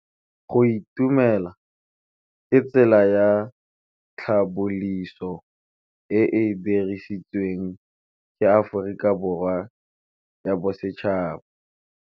Go itumela ke tsela ya tlhapolisô e e dirisitsweng ke Aforika Borwa ya Bosetšhaba.